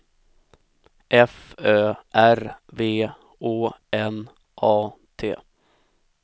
F Ö R V Å N A T